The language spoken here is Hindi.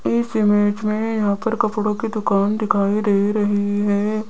इस इमेज में यहां पर कपड़ों की दुकान दिखाई दे रही है।